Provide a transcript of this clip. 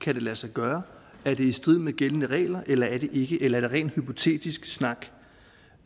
kan det lade sig gøre er det i strid med gældende regler eller er det ikke eller er det rent hypotetisk snak